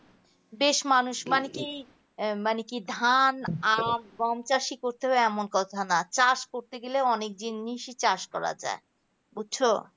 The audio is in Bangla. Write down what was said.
বেশ মানুষ মানে কি মানে কি ধান, আখ, গম ওই চাষী করতে হবে এমন কথা নাই চাষ করতে হবে করতে গেলে অনেক জিনিসই চাষ করা যায় বুঝছো